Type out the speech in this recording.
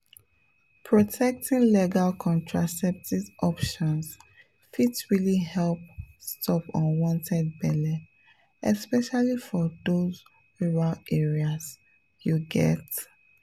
protecting legal contraceptive options fit really help stop unwanted belle especially for those rural areas you get?